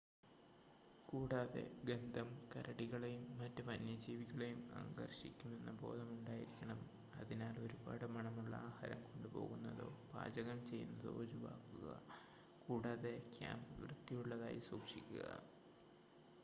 കൂടാതെ ഗന്ധം കരടികളെയും മറ്റ് വന്യജീവികളെയും ആകർഷിക്കുമെന്ന ബോധം ഉണ്ടായിരിക്കണം അതിനാൽ ഒരുപാട് മണമുള്ള ആഹാരം കൊണ്ട് പോകുന്നതോ പാചകം ചെയ്യുന്നതോ ഒഴിവാക്കുക കൂടാതെ ക്യാംപ് വൃത്തിയുള്ളതായി സൂക്ഷിക്കുക